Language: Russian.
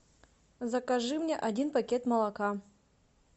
закажи мне один пакет молока